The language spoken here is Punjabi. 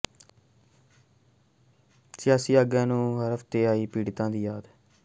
ਸਿਆਸੀ ਆਗੂਆਂ ਨੂੰ ਹਫ਼ਤੇ ਬਾਅਦ ਆਈ ਹੜ੍ਹ ਪੀੜਤਾਂ ਦੀ ਯਾਦ